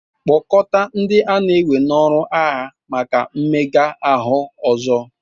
kpọkọta ndị a na-ewe n'ọrụ agha maka mmega ahụ ọzọ